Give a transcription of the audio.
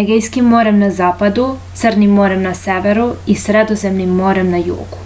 egejskim morem na zapadu crnim morem na severu i sredozemnim morem na jugu